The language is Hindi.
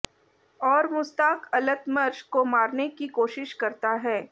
और मुस्ताक अलतमर्ष को मारने की कोशिश करता है